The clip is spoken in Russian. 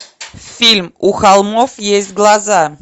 фильм у холмов есть глаза